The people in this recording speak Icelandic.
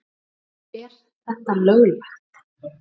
Er þetta löglegt??!!